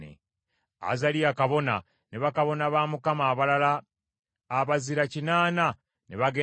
Azaliya kabona ne bakabona ba Mukama abalala abazira kinaana ne bagenda gy’ali,